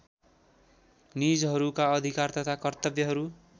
निजहरूका अधिकार तथा कर्तव्यहरू